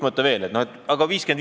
See skeem 50 : 50.